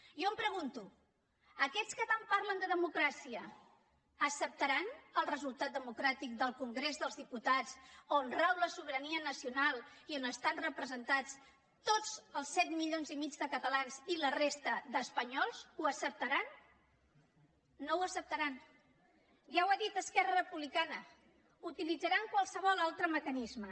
jo em pregunto aquests que tant parlen de democràcia acceptaran el resultat democràtic del congrés dels diputats on rau la sobirania nacional i on estan representats tots els set milions i mig de catalans i la resta d’espanyols ho acceptaran no ho acceptaran ja ho ha dit esquerra republicana utilitzaran qualsevol altre mecanisme